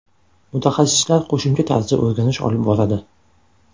Mutaxassislar qo‘shimcha tarzda o‘rganish olib boradi.